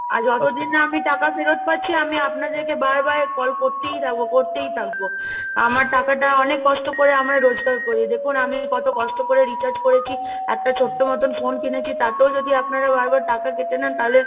আর যতদিন না আমি টাকা ফেরত পাচ্ছি, আমি আপনাদেরকে বারবার কল করতেই থাকবো, করতেই থাকবো, আমার টাকাটা অনেক কষ্ট করে আমরা রোজগার করি, দেখুন আমি কত কষ্ট করে Recharge করেছি, একটা ছোট্ট মতন phone কিনেছি, তাতেও যদি আপনারা বারবার টাকা কেটে নেন, তাহলে,